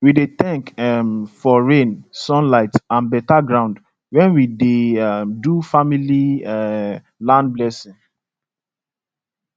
we dey thank um for rain sun light and better ground when we dey um do family um land blessing